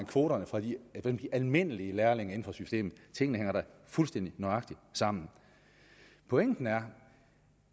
kvoterne fra de almindelige lærlinge inden for systemet tingene hænger da fuldstændig nøjagtigt sammen pointen er